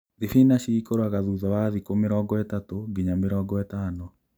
Thibinachi ĩkũraga thutha wa thiku mĩrongo ĩtatũ nginya mĩrongo ĩtano